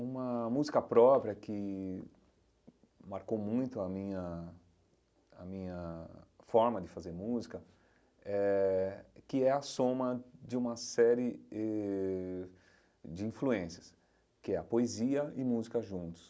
Uma música própria que marcou muito a minha a minha forma de fazer música eh, que é a soma de uma série eh de influências, que é a poesia e música juntos.